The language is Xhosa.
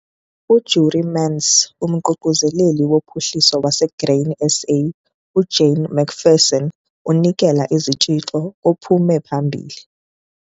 UJurie Mentz, uMququzeleli woPhuhliso waseGrain SA, uJane McPherson unikela izitshixo kophume phambili.